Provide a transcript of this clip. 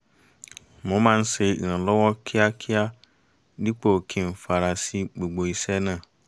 mo máa ṣe ìrànlọ́wọ́ kíákíá dípò kí n fara sí gbogbo iṣẹ́ náà